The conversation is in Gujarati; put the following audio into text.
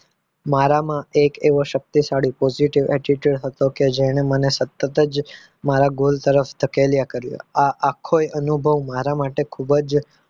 મારામાં એક એવો શક્તિશાળી positive attitude હતો કે જેણે મને સતત જ મારા goal તરફ ધકેલા કર્યો આ આખો અનુભવ મારા માટે ખૂબ જ